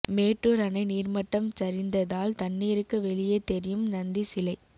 மேட்டூர் அணை நீர்மட்டம் சரிந்ததால் தண்ணீருக்கு வெளியே தெரியும் நந்தி சிலை